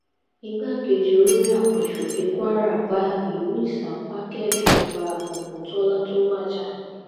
igbákejì olórí àwọn asòfin kwara bá ìlú ìsapá kẹdùn ọba ògùntólá tó wájà